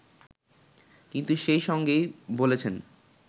কিন্তু সেই সঙ্গেই বলেছেন